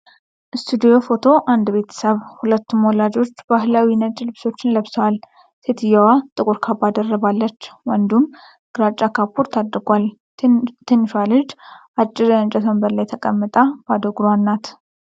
ስቱዲዮ ፎቶ አንድ ቤተሰብ፤ ሁለቱም ወላጆች ባህላዊ ነጭ ልብሶችን ለብሰዋል። ሴትየዋ ጥቁር ካባ ደርባለች፤ ወንዱም ግራጫ ካፖርት አድርጓል። ትንሿ ልጅ አጭር የእንጨት ወንበር ላይ ተቀምጣ ባዶ እግሯን ናት።